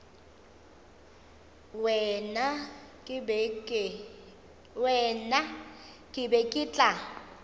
wena ke be ke tla